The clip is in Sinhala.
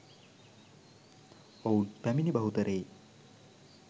ඔවුන් පැමිණි බහුතරයේ